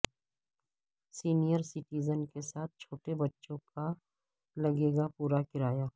senior citizen کے ساتھ چھوٹے بچوں کا لگے گا پورا کرایہ